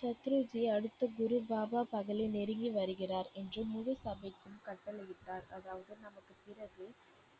சத்ருஜி அடுத்த குரு பாபா பகலே நெருங்கி வருகிறார் என்று முழு சபைக்கும் கட்டளையிட்டார். அதாவது நமக்கு பிறகு